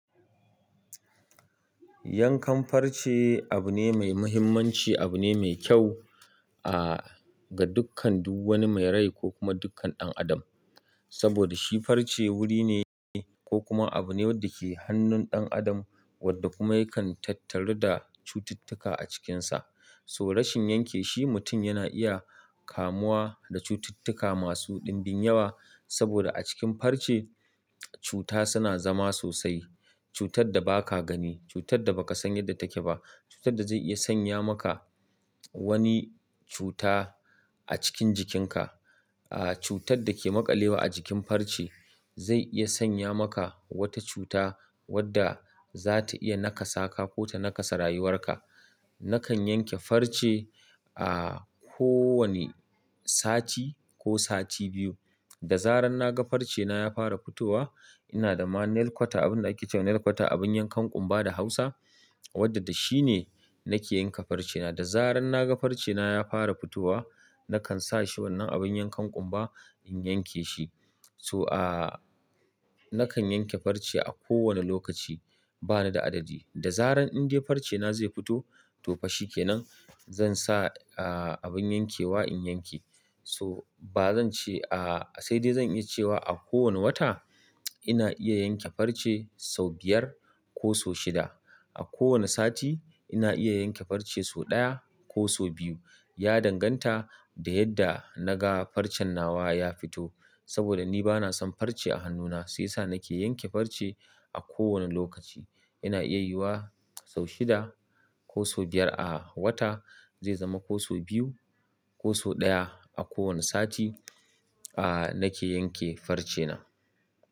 Yankan farce abu ne mai muhimmanci, abu ne me kyau, a ga dukkan duk wani mai rai ko kuma dukkan ɗan adam. Saboda shi farce wuri ne ko kuma abu ne wadda ke hannun ɗan adam wadda kuma yakan tattaru da cututtuka a cikinsa. So rashin yanke shi mutum yana iya kamuwa da cututtuka masu ɗinbin yawa. Saboda a cikin farce cuta suna zama sosai. Cutar da ba ka gani, cutar da baka san yadda take ba, cutar da zai iya sanya maka wani cuta a cikin jikinka. A cutar dake makalews ajikib farce zai iya sanya maka wata cuta wadda zata iya naka sa ko konta nakasa rayuwar ka nakan yanke farce a ko wane sati ko sati biyu. Da zarar naga farce na ya fara fitowa ina da ma nail kwata abin da ake cewa nail kwata abin yankan ƙumba da Hausa wadda da shi ne nake yanka farce na. Da zarar naga farce na ya fara fitowa nakan sa shi wannan abin yankan ƙumba in yanke shi. So a nakan yanke farce a ko wane lokaci bani da adadi. Da zarar in dai farce na zai fito to fa shikenan zan sa a abin yankewa in yanke. So ba zan ce a-- sai dai zan iya cewa a kowane wata ina iya yanke farce sau biyar ko so shida. A kowane sati ina iya yanke farce so ɗaya ko so biyu. Ya danganta da yadda naga farcen nawa ya fito. Saboda ni bana san farce a hannuna shi yasa naka yanke farce a kowa ne lokaci ina iya yi wa sau shida ko so biyar a wata zai zama ko so biyu ko so ɗaya a kowane sati a nake yanke farce na.